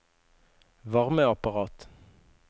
varmeapparat